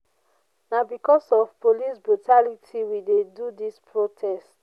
na because of police brutality we de do dis protest.